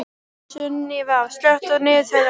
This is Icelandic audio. Sunníva, slökktu á niðurteljaranum.